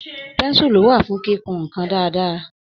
Pẹ́ńsúlù wà fún kíkun nǹkan dáadáa.